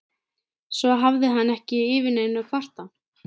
Svo hafði hann ekki yfir neinu að kvarta.